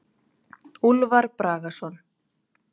Úlfar Bragason.